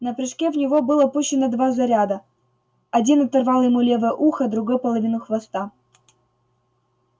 на прыжке в него было пущено два заряда один оторвал ему левое ухо другой половину хвоста